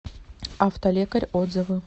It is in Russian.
автолекарь отзывы